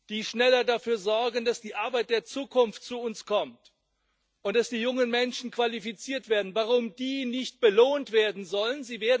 die schneller dafür sorgen, dass die Arbeit der Zukunft zu uns kommt und dass die jungen Menschen qualifiziert werden, nicht belohnt werden sollen.